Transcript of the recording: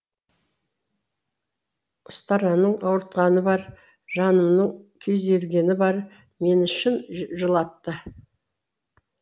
ұстараның ауыртқаны бар жанымның күйзелгені бар мені шын жылатты